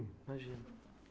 Imagina.